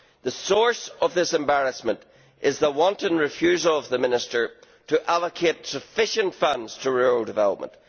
The source of this embarrassment is the wanton refusal of the minister to allocate sufficient funds to rural development.